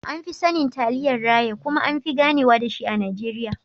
An fi sanin Taliyan raya kuma anfi ganewa dashi a Najeriya.